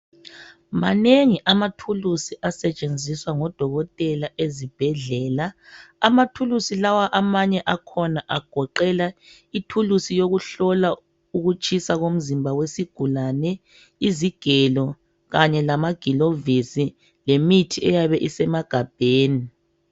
Manengi amathuluzi asetshenziswa ngodokotela ezibhedlela. Amathuluzi lawo agoqela ithulusi yokuhlola ukutshisa komzimba wesigulane, izigelo kanye lamagilovisi lemithi eyabe isemagabheni